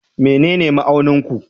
Menene ma'aunin ku?